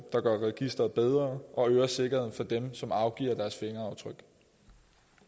registeret bedre og øger sikkerheden for dem som afgiver deres fingeraftryk